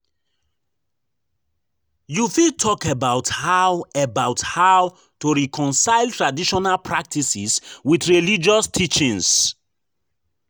You fit talk about how about how to reconcile traditional practices with religious teachings.